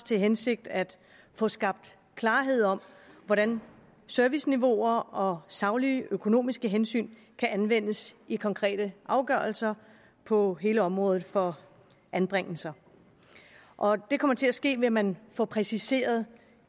til hensigt at få skabt klarhed om hvordan serviceniveauer og saglige økonomiske hensyn kan anvendes i konkrete afgørelser på hele området for anbringelser og det kommer til at ske ved at man får præciseret